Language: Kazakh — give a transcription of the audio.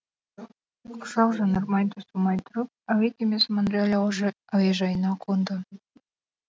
ұшақ жанармай таусылмай тұрып әуекемесі монреаль әуежайына қонды